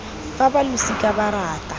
fa ba losika ba rata